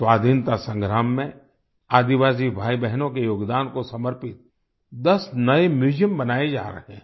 स्वाधीनता संग्राम में आदिवासी भाईबहनों के योगदान को समर्पित 10 नए म्यूजियम बनाए जा रहे हैं